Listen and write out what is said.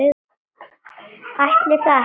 Ætli það ekki?